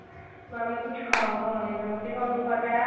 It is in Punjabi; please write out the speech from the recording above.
ਨਾ ਮੈਂ ਕੁੱਝ ਖਾ ਪਾ ਰਹੀ ਆਂ ਤੇ ਤੁਹਾਨੂੰ ਪਤਾ